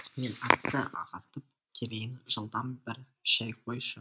мен атты ағытып келейін жылдам бір шай қойшы